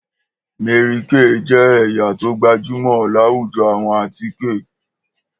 Mary kay jẹ́ ẹ̀yà tó gbajúmọ̀ láwùjọ àwọn àtíkè